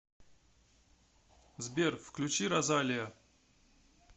сбер включи розалиа